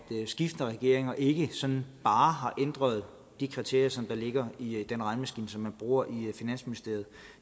skiftende regeringer ikke sådan bare har ændret de kriterier der ligger i den regnemaskine som man bruger i finansministeriet